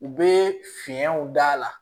U bɛ fiɲɛw d'a la